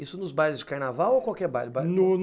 Isso nos bailes de carnaval ou qualquer baile?